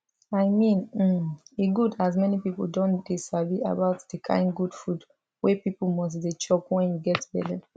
i meanhmmm e good as many people don dey sabi about the kind good food wey people must dey chop when you get belle